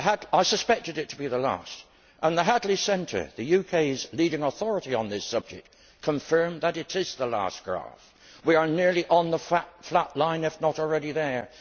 I suspected it to be the last, and the Hadley Centre, the UK's leading authority on this subject, confirmed that it is the last graph. We are nearly on the flat line, if not already there.